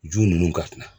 Ju nunnu ka kuma